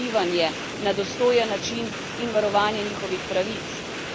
A breme ne sme biti le bolgarsko gre za izjemne priseljenske pritiske.